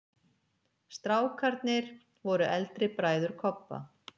STRÁKARNIR voru eldri bræður Kobba.